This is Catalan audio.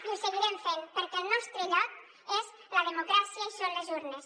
i ho seguirem fent perquè el nostre lloc és la democràcia i són les urnes